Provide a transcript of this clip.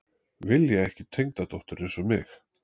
Vilja ekki tengdadóttur eins og mig